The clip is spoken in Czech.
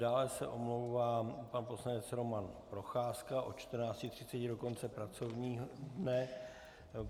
Dále se omlouvá pan poslanec Roman Procházka od 14.30 do konce pracovního dne.